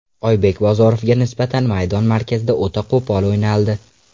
Oybek Bozorovga nisbatan maydon markazida o‘ta qo‘pol o‘ynaldi.